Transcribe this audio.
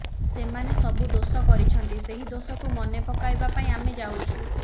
ସେମାନେ ସବୁ ଦୋଷ କରିଛନ୍ତି ସେହି ଦୋଷକୁ ମନେ ପକାଇବା ପାଇଁ ଆମେ ଯାଉଛୁ